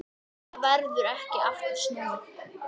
En það verður ekki aftur snúið.